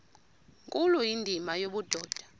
nkulu indima yobudoda